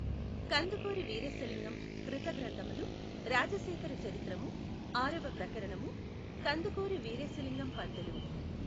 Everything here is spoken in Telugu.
కందుకూరి వీరేశలింగం కృత గ్రంథములు రాజశేఖర చరిత్రము ఆరవ ప్రకరణము కందుకూరి వీరేశలింగం పంతులు